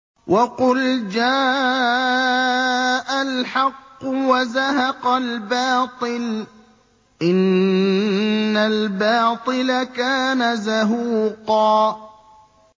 وَقُلْ جَاءَ الْحَقُّ وَزَهَقَ الْبَاطِلُ ۚ إِنَّ الْبَاطِلَ كَانَ زَهُوقًا